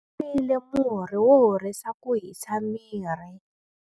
Nwile murhi wo horisa ku hisa miri.